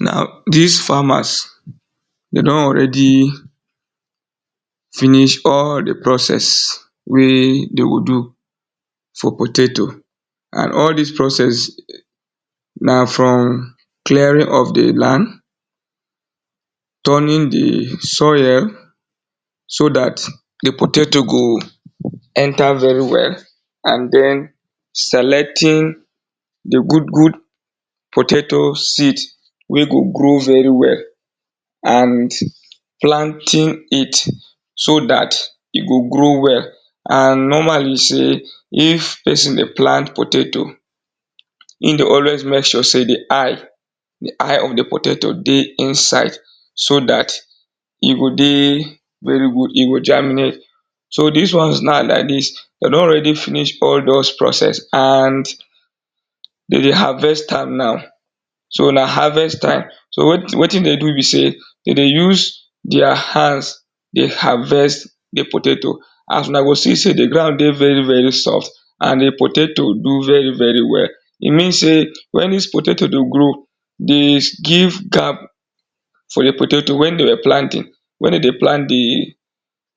Na dis farmers, dem don already finish all di process wey dey go do for potato and all dis process na from clearing of di land, turning di soil so dat di potato go enter very well and den selecting di good good potato seed wey go grow very well and planting it so dat e go grow well and normally sey if person dey plant potato im dey always make sure sey di eye di eye of di potato dey inside so dat e go dey very good e go germinate so dis ones now like dis, dem don already finish all doz process and dey dey harvest am now so na harvest time so wetin dey do be sey dey dey use their hands dey harvest di potato as una go see sey di ground dey very very soft and di potato do very very well e mean sey when dis potato dey grow dey give gap for di potato when they were planting, wen dey dey plant di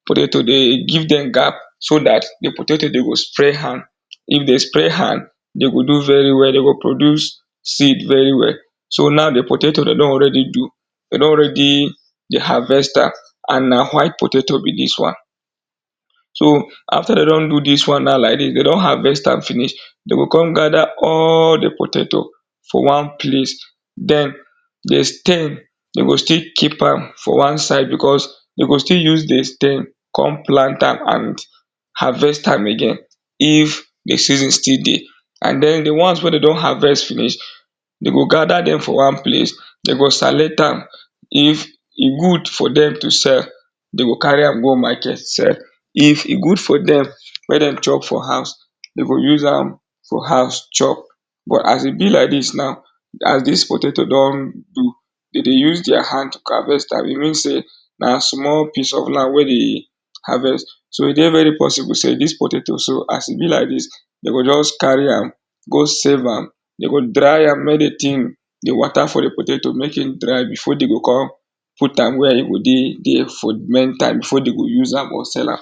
potato dey dey give dem gap so dat di potato dey go spray hand, if di spray hand dey go do very well dey go produce seed very well so now di potato dey don already do dey don already dey harvest am and na white potato be dis one so after dey don do dis one na like dis dey don harvest am finish dem go come gather all di potato for one place den di stem dem go still keep am for one side because dey go still use di stem come plant am and harvest am again if di season still dey, and den dey ones wey dem don harvest finish dem go gather dem for one place dey go select am if e good for dem to sell dem go carry am go market sell if e good for dem make dem chop for house dem go use am for house chop but as e be like dis now as dis potato don do dey dey use their hand harvest am e mean say na small piece of land wey dey harvest so e dey very possible sey dis potato so as e be like dis dey go just carry am go save am dey go dry am make di thing di water for di potato make e dry before dey go come put am where e go dey dey for main time before dey go use am or sell am